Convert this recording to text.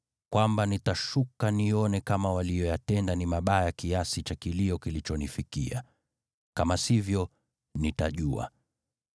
kwamba nitashuka nione kama waliyoyatenda ni mabaya kiasi cha kilio kilichonifikia. Kama sivyo, nitajua.”